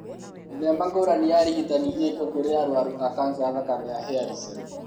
Mĩthemba ngũrani ya ũrigitani ĩkuo kũrĩ arũaru a kanca ya thakame ya hairy cell.